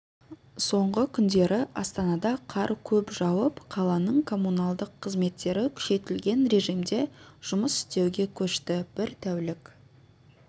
соңғы күндері астанада қар көп жауып қаланың коммуналдық қызметтері күшейтілген режимде жүмыс істеуге көшті бір тәулік